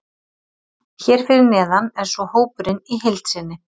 Hér fyrir neðan er svo hópurinn í heild sinni.